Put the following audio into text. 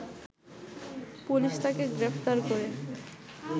police তাকে গ্রেপ্তার করে